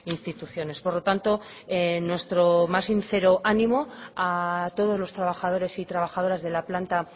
instituciones por lo tanto nuestro más sincero ánimo a todos los trabajadores y trabajadoras de la planta